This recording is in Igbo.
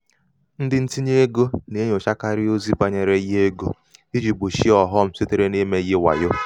ndị ntinye egō nà-enyòchakarị ozi bànyere ihe egō ijī gbòchie ọ̀ghọm sitere n’imē ihe wàyo. um